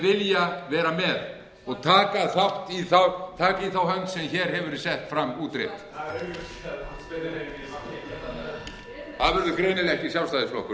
vilja vera með og taka í þá hönd sem hér hefur verið sett fram útrétt það verður greinilega ekki sjálfstæðisflokkurinn